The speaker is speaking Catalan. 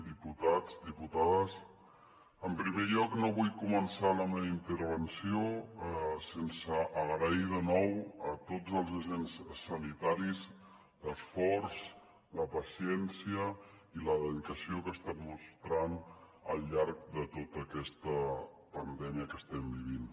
diputats diputades en primer lloc no vull començar la meva intervenció sense agrair de nou a tots els agents sanitaris l’esforç la paciència i la dedicació que estan mostrant al llarg de tota aquesta pandèmia que estem vivint